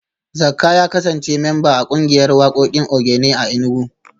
Zakka ya kasance memba a kungiyar wakokin Ogene a Enugu